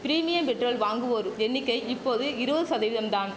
premium petrol வாங்குவோர் எண்ணிக்கை இப்போது இருபது சதவீதம் தான்